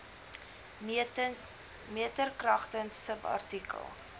meter kragtens subartikel